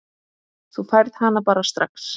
Þú færð hana bara strax.